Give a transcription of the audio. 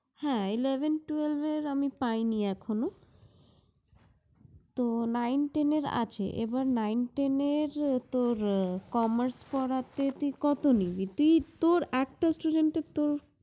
হ্যাঁ eleven, twelve এর আমি পাইনি এখনো। তো nice, ten এর আছে। তো nine, ten এর তোর commerce পড়াতে তুই কত নিবি? তুই তোর একটা student এর তোর